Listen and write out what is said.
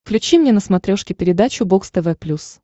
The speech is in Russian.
включи мне на смотрешке передачу бокс тв плюс